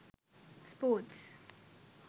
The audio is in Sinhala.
sports